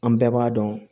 An bɛɛ b'a dɔn